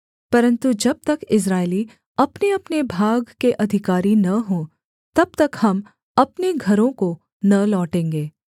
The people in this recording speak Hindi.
परन्तु जब तक इस्राएली अपनेअपने भाग के अधिकारी न हों तब तक हम अपने घरों को न लौटेंगे